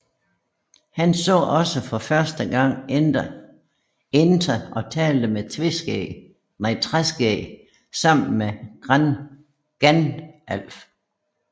Han så også for første gang enter og talte med Træskæg sammen med Gandalf